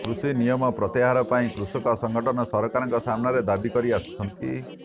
କୃଷି ନିୟମ ପ୍ରତ୍ୟାହାର ପାଇଁ କୃଷକ ସଂଗଠନ ସରକାରଙ୍କ ସାମ୍ନାରେ ଦାବି କରିଆସୁଛନ୍ତି